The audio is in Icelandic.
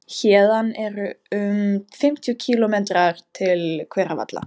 Héðan eru um fimmtíu kílómetrar til Hveravalla.